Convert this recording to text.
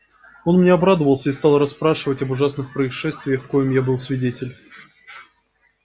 он мне обрадовался и стал расспрашивать об ужасных происшествиях коим я был свидетель